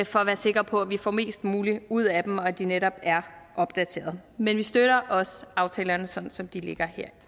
for at være sikre på er vi får mest muligt ud af dem og at de netop er opdaterede men vi støtter også aftalerne sådan som de ligger her